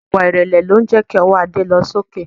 Ìwà ìrẹ̀lẹ̀ lo ń jẹ́ kí ọwọ́ Ade lọ sí òkè